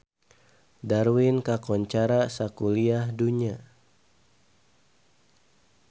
Darwin kakoncara sakuliah dunya